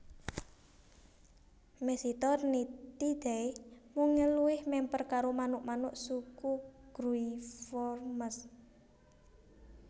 Mesitornithidae mungel luwih mèmper karo manuk manuk suku Gruiformes